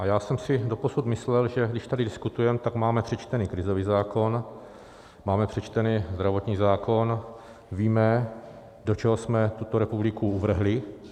A já jsem si doposud myslel, že když tady diskutujeme, tak máme přečtený krizový zákon, máme přečtený zdravotní zákon, víme, do čeho jsme tuto republiku uvrhli.